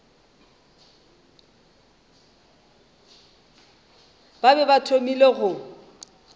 ba be ba thomile go